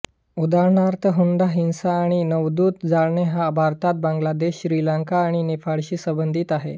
उदाहरणार्थ हुंडा हिंसा आणि नववधू जाळणे हा भारत बांगलादेश श्रीलंका आणि नेपाळशी संबंधित आहे